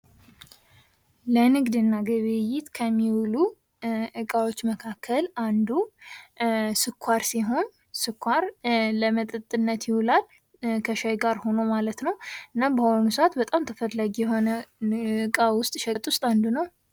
ለንግድና ግብይት ከሚውሉ እቃዎች መካከል አንዱ ስኳር ሲሆን ስኳር ለመጠጥነት ይውላል ።ከሻይ ጋር ሆኖ ማለት ነው እናም በአሁኑ ሰዓት በጣም ተፈላጊ እቃ ውስጥ ሸቀጥ ውስጥ አንዱ ነው።